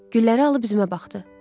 Gülləri alıb üzümə baxdı.